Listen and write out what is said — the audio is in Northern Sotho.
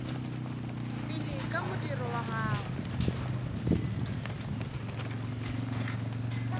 pele ka modiro wa gagwe